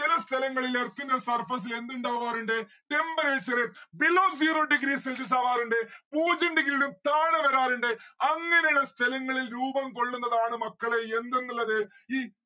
ചെല സ്ഥലങ്ങളിൽ earth ന്റെ surface എന്തിണ്ടാവാറിണ്ട്‌? temperature below zero degree celsius ആവാറിണ്ട് പൂജ്യം degree ലും താഴെ വരാറിണ്ട് അങ്ങനെയുള്ള സ്ഥലങ്ങളിൽ രൂപം കൊല്ലുന്നതാണ് മക്കളെ യെന്ത് എന്ന് ഇള്ളത്? ഈ